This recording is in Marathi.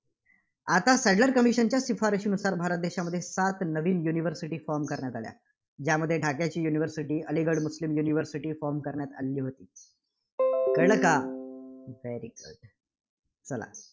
आता सॅडलर Commission च्या शिफारसीनुसार भारत देशामध्ये सात नवीन universityform करण्यात आल्या. ज्यामध्ये ढाकाची university, अलिगढ मुस्लिम universityForm करण्यात आलेली होती. कळलं का? very good चला.